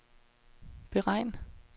beregn